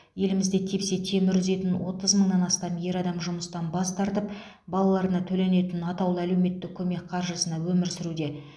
елімізде тепсе темір үзетін отыз мыңнан астам ер адам жұмыстан бас тартып балаларына төленетін атаулы әлеуметтік көмек қаржысына өмір сүруде